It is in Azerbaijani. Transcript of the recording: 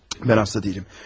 Mən xəstə deyiləm.